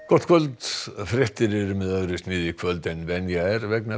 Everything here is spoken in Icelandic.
gott kvöld fréttir eru með öðru sniði í kvöld en venja er vegna